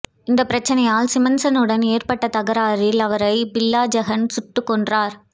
இந்த பிரச்சனையால் சிமன்சனுடன் ஏற்பட்ட தகராறில் அவரை பில்லாஜெகன் சுட்டு கொன்றார்